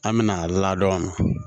An mɛna ladon